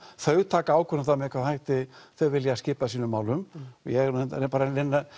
þau taka ákvörðun með hvaða hætti þau vilja skipa sínum málum ég er bara að